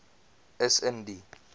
is in die